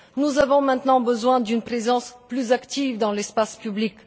Nous avons maintenant besoin d'une présence plus active dans l'espace public.